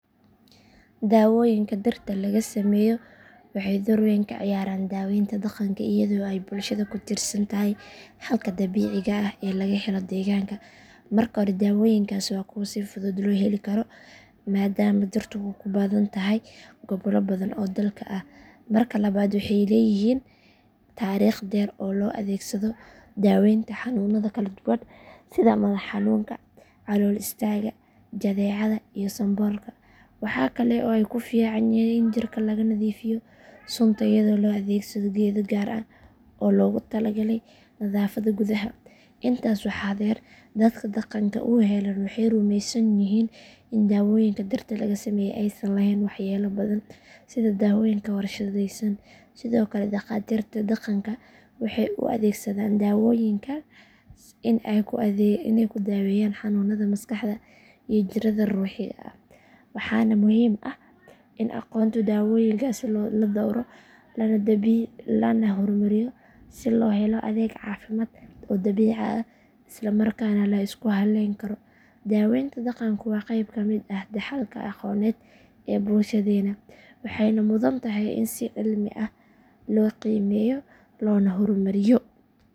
Daawooyinka dhirta laga sameeyo waxay door weyn ka ciyaaraan daawaynta dhaqanka iyadoo ay bulshada ku tiirsan tahay xalka dabiiciga ah ee laga helo deegaanka. Marka hore daawooyinkaasi waa kuwo si fudud loo heli karo maadaama dhirtu ku badan tahay gobollo badan oo dalka ah. Marka labaad waxay leeyihiin taariikh dheer oo loo adeegsaday daaweynta xanuunada kala duwan sida madax xanuunka, calool istaagga, jadeecada iyo sanboorka. Waxaa kale oo ay ku fiican yihiin in jirka laga nadiifiyo sunta iyadoo la adeegsado geedo gaar ah oo loogu talagalay nadaafadda gudaha. Intaas waxaa dheer dadka dhaqanka u heellan waxay rumeysan yihiin in daawooyinka dhirta laga sameeyo aysan lahayn waxyeello badan sida daawooyinka warshadaysan. Sidoo kale dhakhaatiirta dhaqanka waxay u adeegsadaan daawooyinkaas in ay ku daaweeyaan xanuunada maskaxda iyo jirrada ruuxiga ah. Waxaana muhiim ah in aqoonta daawooyinkaasi la dhowro lana horumariyo si loo helo adeeg caafimaad oo dabiici ah isla markaana la isku halleyn karo. Daawaynta dhaqanku waa qeyb ka mid ah dhaxalka aqooneed ee bulshadeenna waxayna mudan tahay in si cilmi ah loo qiimeeyo loona horumariyo.